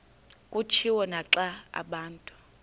kutshiwo naxa abantu